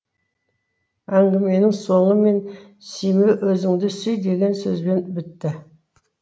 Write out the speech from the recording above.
әңгіменің соңы мені сүйме өзіңді сүй деген сөзбен бітті